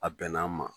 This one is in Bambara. A bɛnn'an ma